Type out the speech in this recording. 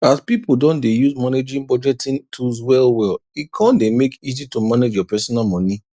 as pipu don dey use managing budgeting tools well well e kon dey make easy to manage your personal moni